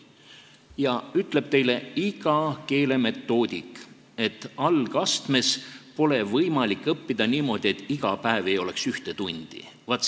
Iga keelemetoodik ütleb teile, et algastmes pole võimalik õppida, kui iga päev ei ole ühte tundi.